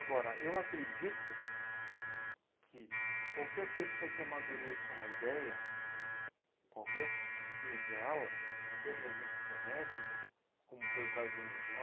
Agora, eu acredito que qualquer pessoa que amadureça uma ideia, qualquer se, que seja ela, até mesmo de ser médico, como foi o caso do meu irmão,